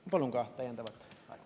Ma palun täiendavat aega.